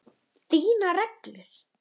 Þínar reglur?